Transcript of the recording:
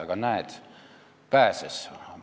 Aga näed, pääses.